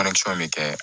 bɛ kɛ